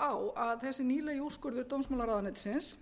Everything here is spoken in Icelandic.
bent á að þessi nýlegi úrskurður dómsmálaráðuneytisins